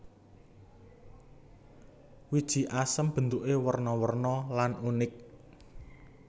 Wiji asem bentuké werna werna lan unik